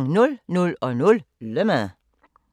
00:00: Le Mans